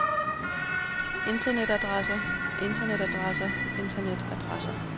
internetadresser internetadresser internetadresser